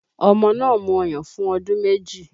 Ọmọ náà mu ọyàn fún ọdún méjì